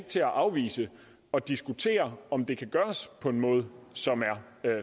til at afvise at diskutere om det kan gøres på en måde som er